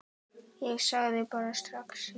Ég sagði bara strax já.